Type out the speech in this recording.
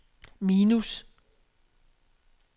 minus